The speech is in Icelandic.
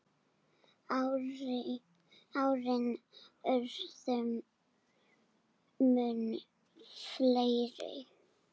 Árin urðu mun fleiri.